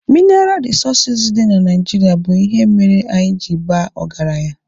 Minaral rịsọọsụ dị na Naijirịa bụ ihe mere anyị ji baa ọgaranya